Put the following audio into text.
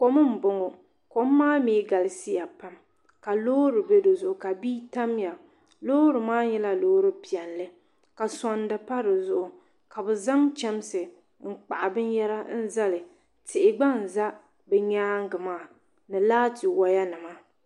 Kom m boŋɔ kom maa mee galisiya pam ka Loori be dizuɣu ka bia tamya loori maa nyɛla loori piɛlli ka sondi pa dizuɣu ka bɛ zaŋ chemsi n kpahi binyera n zali tihi gba n za bɛ nyaanga maa ni laati waya nima